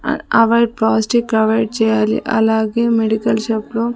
అ అవే plastic avoid చేయాలి అలాగే మెడికల్ షాప్ లో--